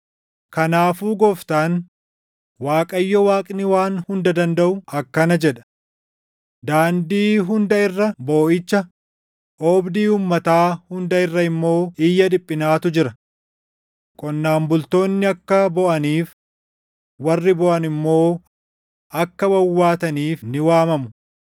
Kanaafuu Gooftaan, Waaqayyo Waaqni Waan Hunda Dandaʼu akkana jedha: “Daandii hunda irra booʼicha, oobdii uummataa hunda irra immoo iyya dhiphinaatu jira. Qonnaan bultoonni akka booʼaniif, warri booʼan immoo akka wawwaataniif ni waamamu.